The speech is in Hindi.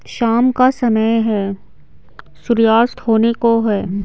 शाम का समय है सूर्यास्त होने को है।